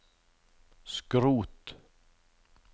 skrot